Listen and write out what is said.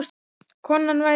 Konan væri ólétt.